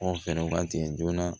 Anw fɛɛrɛw ka tigɛ joona